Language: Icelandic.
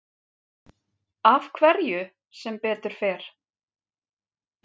Af hverju sem betur fer?